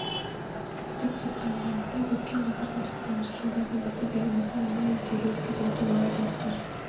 үздік деп таныған кітап өткен ғасырдың тоқсаныншы жылдардан бастап еліміздің мұнай игеру ісіндегі толағай табыстар